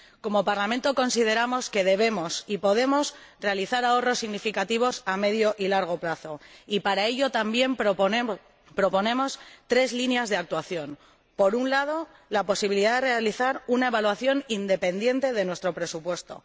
Como Parlamento, consideramos que debemos y podemos realizar ahorros significativos a medio y largo plazo, y para ello también proponemos tres líneas de actuación por un lado, la posibilidad de realizar una evaluación independiente de nuestro presupuesto